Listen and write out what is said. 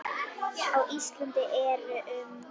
Á Íslandi eru um